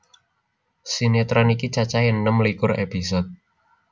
Sinetron iki cacahé enem likur episode